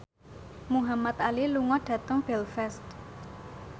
Muhamad Ali lunga dhateng Belfast